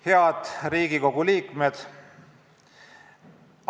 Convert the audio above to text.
Head Riigikogu liikmed!